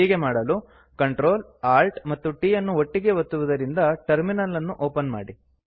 ಹೀಗೆ ಮಾಡಲು Ctrl Alt ಮತ್ತು T ಯನ್ನು ಒಟ್ಟಿಗೆ ಒತ್ತುವುದರಿಂದ ಟರ್ಮಿನಲ್ ಅನ್ನು ಒಪನ್ ಮಾಡಿ